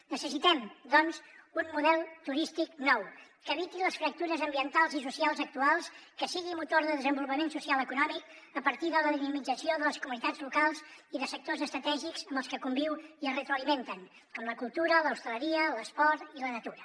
necessitem doncs un model turístic nou que eviti les fractures ambientals i socials actuals que sigui motor de desenvolupament social i econòmic a partir de la dinamització de les comunitats locals i de sectors estratègics amb els que conviu i es retroalimenten com la cultura l’hostaleria l’esport i la natura